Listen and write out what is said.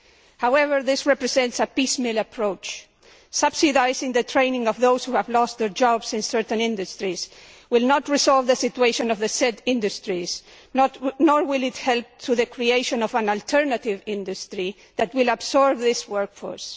However, this represents a piecemeal approach. Subsidising the training of those who have lost their jobs in certain industries will not resolve the situation of the said industries, nor will it help to create an alternative industry that will absorb this workforce.